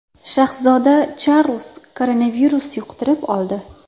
Shahzoda Charlz koronavirus yuqtirib oldi.